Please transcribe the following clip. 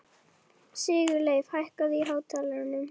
Sigurleif, hækkaðu í hátalaranum.